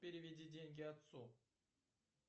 переведи деньги отцу